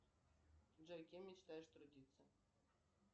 джой кем мечтаешь трудиться